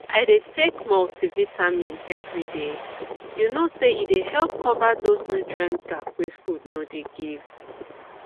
i dey take multivitamin every day you know say e dey help cover those nutrient gap wey food no dey give